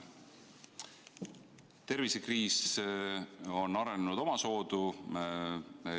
Tervisekriis on arenenud omasoodu.